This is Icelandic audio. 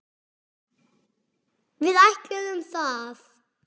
Við ætluðum það.